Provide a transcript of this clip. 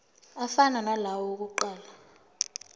afana nalawo awokuqala